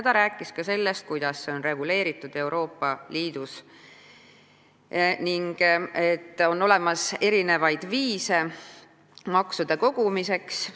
Ta rääkis ka sellest, kuidas on see reguleeritud Euroopa Liidus ning et maksude kogumiseks on mitmeid viise.